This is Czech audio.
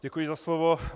Děkuji za slovo.